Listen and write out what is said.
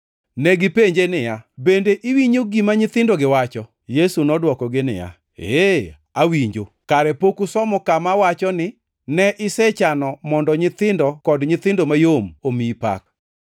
Negipenje niya, “Bende iwinjo gima nyithindogi wacho?” + 21:16 \+xt Zab 8:2\+xt* Yesu nodwokogi niya, “Ee, awinjo. Kare pok usomo kama wacho ni, “ ‘Ne isechano mondo nyithindo kod nyithindo mayom omiyi pak’?”